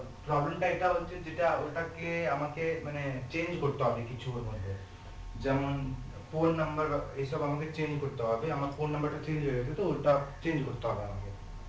problem টা এটা হচ্ছে যেটা ওটাকে আমাকে মানে change করতে হবে কিছু এর মধ্যে যেমন phone number বা এইসব আমাকে change করতে হবে আমার phone number টা change গেছে তো ওটা change করতে হবে আমাকে